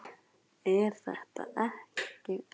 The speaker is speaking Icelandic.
Jóhanna Margrét: Er þetta ekki of gott?